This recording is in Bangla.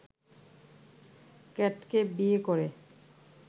ক্যাটকে বিয়ে করে